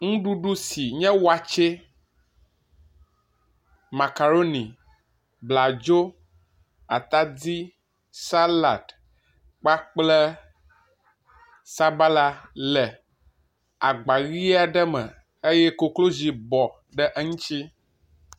Nuɖuɖu si nye watsɛ, makaɖoni, bladzo, atadi, saladi kpakple sabala le agba ʋi aɖe me eye koklozi bɔ ɖe eŋuti.